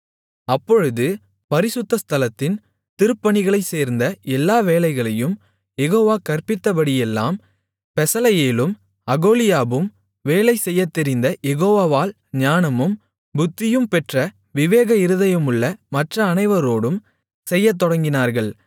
அப்பொழுது பரிசுத்த ஸ்தலத்தின் திருப்பணிகளைச் சேர்ந்த எல்லா வேலைகளையும் யெகோவா கற்பித்தபடியெல்லாம் பெசலெயேலும் அகோலியாபும் வேலை செய்யத்தெரிந்த யெகோவாவால் ஞானமும் புத்தியும் பெற்ற விவேக இருதயமுள்ள மற்ற அனைவரோடும் செய்யத்தொடங்கினார்கள்